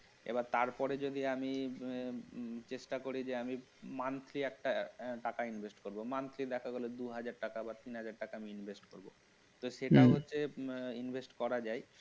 এবার তারপরে যদি আমি উম চেষ্টা করি যে আমি monthly একটা টাকা invest করব monthly দেখা গেল দু হাজার টাকা বা তিন হাজার টাকা invest করবো সেটাও হম হচ্ছে invest করা যায়